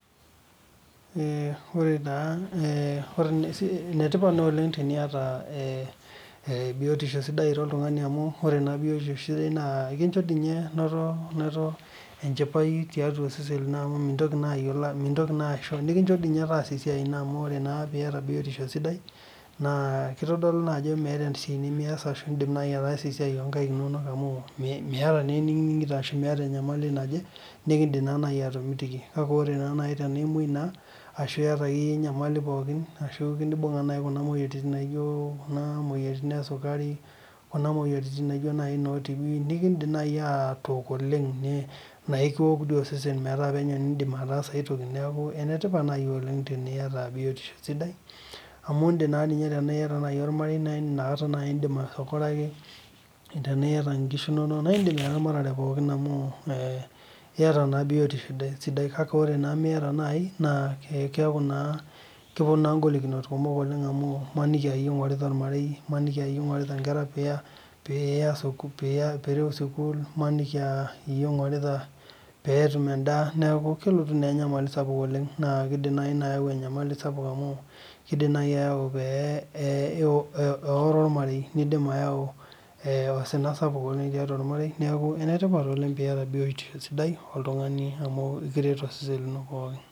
Ee ore naa enetipat na oleng teniata e biotisho sidai ira oltungani amu ore na biotisho sidai ekincho ninye noto tiatua osesen lini amu mintoki naa ayiolou nikincho nye taasa esiai amu ore iata biotisho sidai na kitodolu ajo meeta esiai nimias arashu indim nai ataasa esiai onkaik inonok amu miata naa eniningito ashu miata enyamali naje nikindim nai atomitiki kakebore nai tanaimoi naa arashu iyata enkae nyamali pookin ashu iyata enikiya naijobkuna moyiaritin esukari kuna moyiaritin naijo noo tibi na ekindim nai atook oleng naikiwokbtoi osesen meetaa mindim ataasa aai toki neaku enetipat oleng teniata biotisho amu indim nai tanaiyata ormarei naindim nai tanaaita nkishu inonok na indim eramatare pookin amu ee iata naa biotisho sidai na ore nai tenimiata naai na keaku na keponi naa ngolikinot kumok amu kelo ninepu aa iyie ingurita ormarei imaniki aayie ingurita nkera piya sukul imaniki aa iyie ingurita petum endaa neaku kelotu na enyamali oleng na kidim nai ina ayau enyamali sapuk amu kidim nai ayau peoro ormarei nidim nai ayau osina sapuk tiatua ormarei neaku enetipat oleng piata biotisho sidai oltungani amu ekiret tenkishui ino pookin.